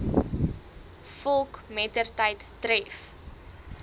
volk mettertyd tref